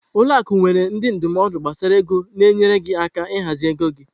Ụlọ akụ nwere ndị ndụmọdụ gbasara ego na-enyere gị aka ịhazi ego gị.